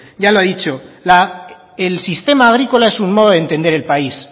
ya lo ha dicho el sistema agrícola es un modo de entender el país